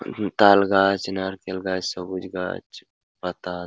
উ-হু-ম-ম তাল গাছ নারকেল গাছ সবুজ গাছ পাতা --